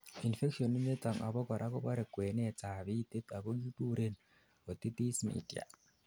infection initon abakora kobore kwenet ab itit ako kikuren otitis media